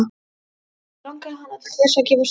Í fyrsta skipti langaði hana til þess að gefast upp.